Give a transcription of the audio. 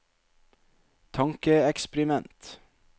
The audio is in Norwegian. tankeeksperiment